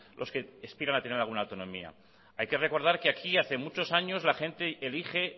los que aspiran a tener alguna autonomía hay que recordar que aquí hace muchos años la gente elige